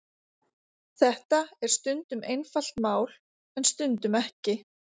Þetta er stundum einfalt mál en stundum ekki.